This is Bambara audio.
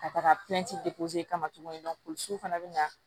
Ka taga kama tuguni fana bɛ na